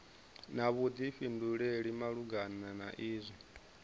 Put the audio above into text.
na vhuḓifhinduleli malugana na izwi